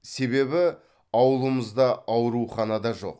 себебі аулымызда аурухана да жоқ